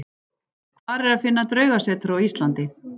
Hvar er að finna draugasetur á Íslandi?